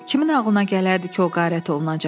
Kimin ağlına gələrdi ki, o qarət olunacaq?